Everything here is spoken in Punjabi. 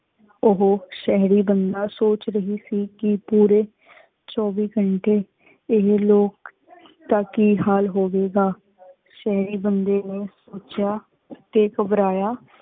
ਉਹੁ ਸ਼ਹਰੀ ਬੰਦਾ ਸੋਚ ਰਹਾ ਸੀ ਕੀ ਪੁਰੀ ਚੁਵੀ ਘੰਟੀ ਏਹੀ ਲੋਗ ਦਾ ਕੀ ਹਾਲ ਹੋਵੇਗਾ ਸ਼ਹਰੀ ਬੰਦੀ ਪੁਚੇਯਾ ਟੀ ਘਬਰਾਯਾ